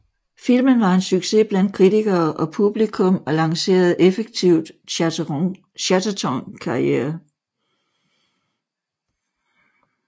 Filmen var en succes blandt kritikere og publikum og lancerede effektivt Chatterton karriere